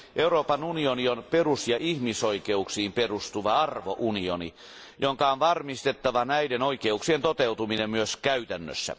Euroopan unioni on perus ja ihmisoikeuksiin perustuva arvounioni, jonka on varmistettava näiden oikeuksien toteutuminen myös käytännössä.